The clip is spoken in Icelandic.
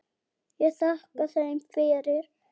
Ég þakkaði þeim fyrir.